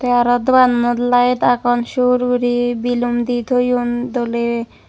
te araw dogannot lite agon sur guri bilum di toyon doley.